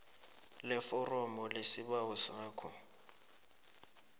leforomo lesibawo sakho